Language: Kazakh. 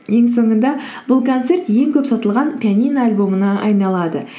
ең соңында бұл концерт ең көп сатылған пианино альбомына айналады